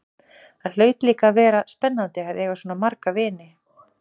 Það hlaut líka að vera spennandi að eiga svona marga vini.